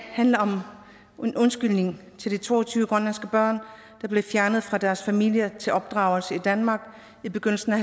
handler om en undskyldning til de to og tyve grønlandske børn der blev fjernet fra deres familier og sendt til opdragelse i danmark i begyndelsen af